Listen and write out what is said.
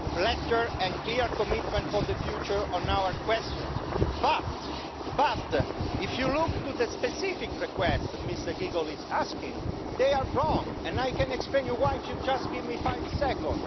letters and clear commitments for the future on our questions. But, if you look to the specific requests that Mr Giegold is asking, they are wrong, and I can explain to you why if you just give me five seconds.